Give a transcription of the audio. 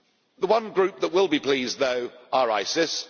The one group that will be pleased, though, are ISIS.